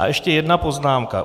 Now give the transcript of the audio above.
A ještě jedna poznámka.